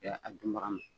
a dunbaga ma